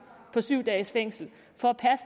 på syv dages fængsel for